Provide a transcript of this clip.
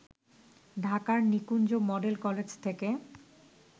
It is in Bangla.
ঢাকার নিকুঞ্জ মডেল কলেজ থেকে